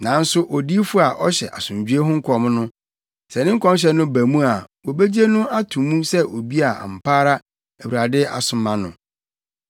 Nanso odiyifo a ɔhyɛ asomdwoe ho nkɔm no, sɛ ne nkɔmhyɛ no ba mu a wobegye no ato mu sɛ obi a ampa ara Awurade asoma no.”